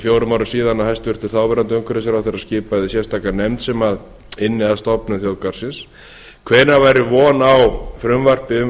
fjórum árum síðan að hæstvirtur þáverandi umhverfisráðherra skipaði sérstaka nefnd sem ynni að stofnun þjóðgarðsins hvenær væri von á frumvarpi um